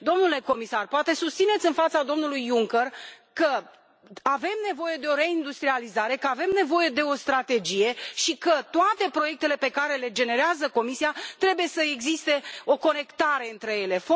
Domnule comisar, poate susțineți în fața domnului Juncker că avem nevoie de o reindustrializare, că avem nevoie de o strategie și că, pentru toate proiectele pe care le generează Comisia, trebuie să existe o conectare între ele.